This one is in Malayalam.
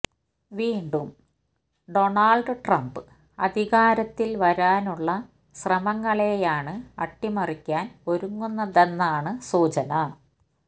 വീണ്ടും ഡൊണാള്ഡ് ട്രംപ് അധികാരത്തില് വരാനുള്ള ശ്രമങ്ങളെയാണ് അട്ടിമറിക്കാന് ഒരുങ്ങുന്നതെന്നാണ് സൂചന